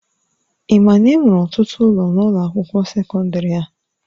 Ị ma na enwere ọtụtụ ụlọ n'ụlọ akwụkwọ sekọndrị a?